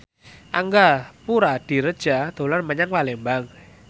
Angga Puradiredja dolan menyang Palembang